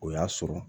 O y'a sɔrɔ